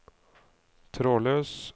trådløs